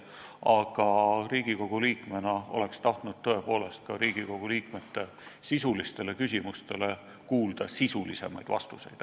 Aga Riigikogu liikmena oleks tahtnud tõepoolest ka Riigikogu liikmete sisulistele küsimustele kuulda sisulisemaid vastuseid.